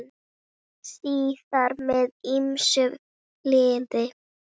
Síðar með ýmsum liðum.